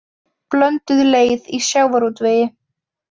Blönduð leið í sjávarútvegi